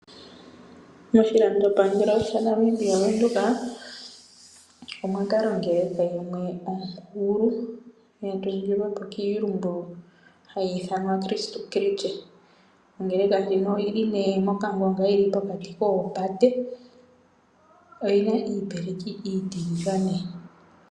Moshilandopangelo shaNamibia Ovenduka omwa kala ongerka yimwe onkulu, ya tungilwepo kiilumbu hayi ithanwa Christu-Christie. Ongerka ndjino oyili nee mokangonga yili pokati koopate oyina iipeleki iitiligane